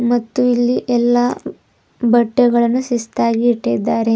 ಮತ್ತು ಇಲ್ಲಿ ಎಲ್ಲಾ ಬಟ್ಟೆಗಳನ್ನು ಶಿಸ್ತಾಗಿ ಇಟ್ಟಿದ್ದಾರೆ.